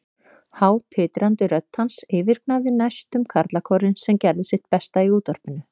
Há, titrandi rödd hans yfirgnæfði næstum karlakórinn, sem gerði sitt besta í útvarpinu.